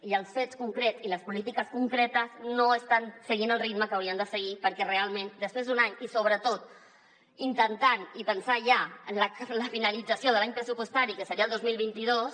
i els fets concrets i les polítiques concretes no estan seguint el ritme que haurien de seguir perquè realment després d’un any i sobretot intentant i pensant ja en la finalització de l’any pressupostari que seria el dos mil vint dos